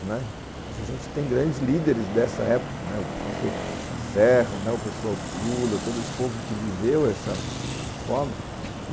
Né... Hoje a gente tem grandes líderes dessa época, o próprio Serra, o pessoal Lula, todo esse povo que viveu essa forma.